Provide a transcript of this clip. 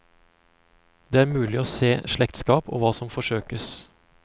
Det er mulig å se slektskap og hva som forsøkes.